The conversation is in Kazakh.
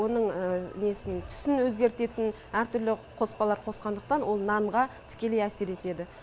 оның несін түсін өзгертетін әртүрлі қоспалар қосқандықтан ол нанға тікелей әсер етеді